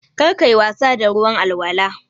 Kar ka yi wasa da ruwan alwala.